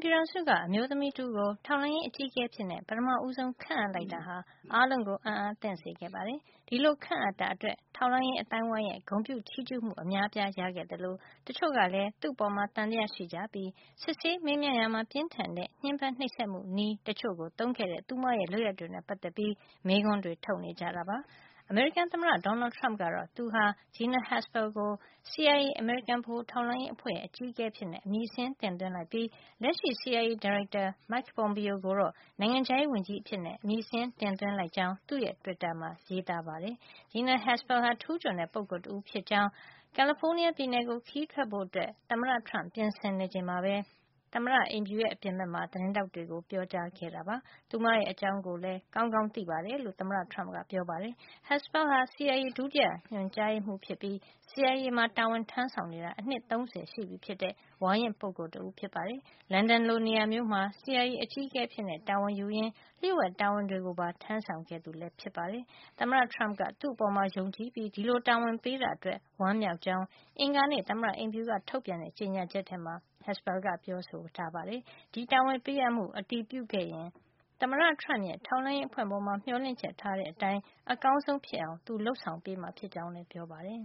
ပြည်ထောင်စုက အမျိုးသမီးတဦးကို ထောက်လှမ်းရေး အကြီးအကဲအဖြစ် ပထမဦးဆုံး ခန့်အပ်လိုက်တာဟာ အားလုံးကို အံ့အားသင့်စေခဲ့ပါတယ်။ ဒီလိုခန့်အပ်တာအတွက် ထောက်လှမ်းရေး အသိုင်းအဝိုင်းရဲ့ ဂုဏ်ပြုချီးကြူးမှု အများအပြား ရခဲ့သလို တချို့ကလည်း သူ့အပေါ် သံသယရှိကြပြီး စစ်ဆေးမေးမြန်းရာမှာ ပြင်းထန်တဲ့ ညှင်းပမ်းနှိပ်စက်မှု နည်းတချို့သုံးခဲ့တဲ့ သူမရဲ့ လုပ်ရပ်တွေနဲ့ ပတ်သက်ပြီး မေးခွန်းတွေ ထုတ်နေကြတာပါ။ အမေရိကန်သမ္မတ Donald Trump ကတော့ သူဟာ Gina Haspel ကို CIA အမေရိကန် ဗဟိုထောက်လှမ်းရေး အဖွဲ့ရဲ့ အကြီးအကဲအဖြစ်အမည်စာရင်းတင်သွင်းလိုက်ပြီး လက်ရှိ CIA ဒါရိုက်တာ Mike Pompeo ကိုတော့ နိုင်ငံခြားရေးဝန်ကြီးအဖြစ် အမည်တင်သွင်းလိုက်ကြောင်း သူ့တွစ်တာမှာ ရေးပါတယ်။ Gina Haspel ဟာ ထူူးချွန်တဲ့ ပုဂ္ဂိုလ်တဦးဖြစ်ကြောင်း ကယ်လီဖိုးနီးယားပြည်နယ်ကို ခရီးထွက်ဖို့ ပြင်ဆင်နေချိန်မှာပဲ သမ္မတအိမ်ဖြူ အပြင်ဖက်မှာ သတင်းထောက်တွေကို ပြောပါတယ်။ သူမအကြောင်းကိုလည်း ကောင်းကောင်း သိတယ်လို့ ဆိုပါတယ်။ Haspel ဟာ CIA ဒုတိယညွှန်မှုးဖြစ်ပြီး CIA မှာတာဝန်ထမ်းဆောင်နေတာ အနှစ် ၃၀ ရှိတဲ့ ဝါရင့်တဲ့ပုဂ္ဂိုလ် တဦးပါ။ လန်ဒန်လိုနေရာမျိုးမှာ CIA အကြီးအကဲအဖြစ်တာဝန်ယူရင်း လျှို့ဝှက်တာဝန်တွေကိုပါ ထမ်းဆောင်ခဲ့သူ ဖြစ်ပါတယ်။ သမ္မတ Trump က သူ့အပေါ်ယုံကြည်ပြီး ဒီလိုတာဝန်ပေးတာအတွက် ဝမ်းမြောက်ကြောင်း အင်္ဂါနေ့ သမ္မတအိမ်ဖြူက ထုတ်ပြန်တဲ့ ကြေညာချက်မှာ Haspel က ပြောပါတယ်။ ဒီတာဝန်ပေးအပ်မှု အတည်ပြုခဲ့ရင် သမ္မတ Trump ရဲ့ ထောက်လှန်းရေးအဖွဲ့ပေါ် မျှော်လင့်ချက်ထားတဲ့ အတိုင်း အကောင်းဆုံး ဖြစ်အောင် သူလုပ်ဆောင်မှာ ဖြစ်ကြောင်းလည်း ပြောပါတယ်။